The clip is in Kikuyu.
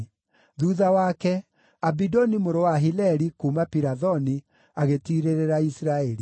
Thuutha wake, Abidoni mũrũ wa Hileli, kuuma Pirathoni, agĩtiirĩrĩra Isiraeli.